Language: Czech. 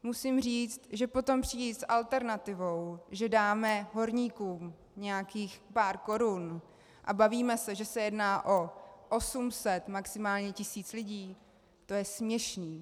Musím říct, že potom přijít s alternativou, že dáme horníkům nějakých pár korun, a bavíme se, že se jedná o 800, maximálně tisíc lidí, to je směšné.